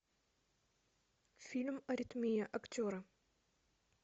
фильм аритмия актеры